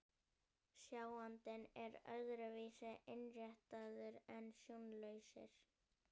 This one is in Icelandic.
Sjáandinn er öðru vísi innréttaður en sjónlausir.